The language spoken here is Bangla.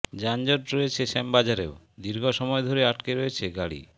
যানজট রয়েছে শ্যামবাজারেও দীর্ঘ সময় ধরে আটকে রয়েছে গাড়ি